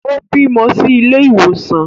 Ó bímọ sí ilé ìwòsàn